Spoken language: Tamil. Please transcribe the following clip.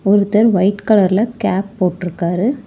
ஒருத்தர் ஒயிட் கலர்ல கேப் போட்ருக்காரு.